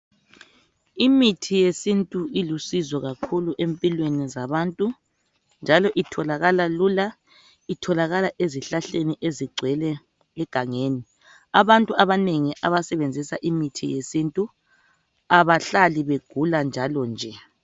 Imithi yesintu ilusizo kakhulu empilweni zabantu njalo itholakala lula itholakala ezihlahleni ezigcwele egangeni abantu abanengi abasebenzisa imithi yesintu abahlali begula njalo nje.